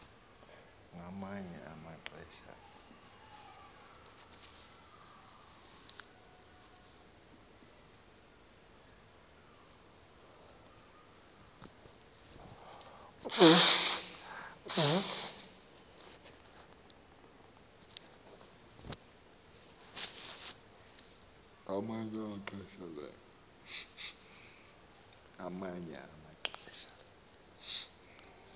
ngamanye amaxesha le